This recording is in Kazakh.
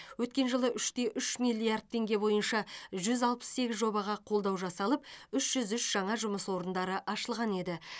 өткен жылы үш те үш миллиард теңге бойынша жүз алпыс сегіз жобаға қолдау жасалып үш жүз үш жаңа жұмыс орындары ашылған еді